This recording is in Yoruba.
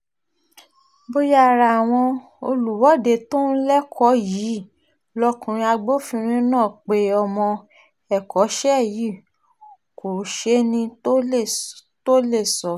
bóyá ara àwọn olùwọ́de tó ń lẹ́kọ yìí lọkùnrin agbófinró náà pé ọmọ ẹ̀kọ́ṣẹ́ yìí kò sẹ́ni tó lè sọ